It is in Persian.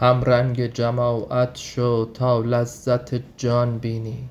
همرنگ جماعت شو تا لذت جان بینی